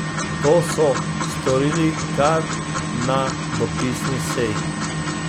To so storili kar na dopisni seji.